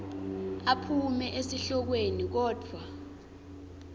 aphume esihlokweni kodvwa